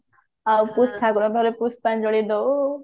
ଆଉ ପରେ ପୁଷ୍ପାଞ୍ଜଳି ଦଉ